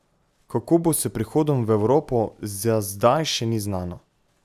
Kako bo s prihodom v Evropo, za zdaj še ni znano.